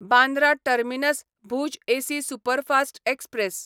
Bandra terminus Bhuj AC superfast express